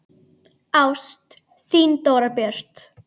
Ást, þín Dóra Björt.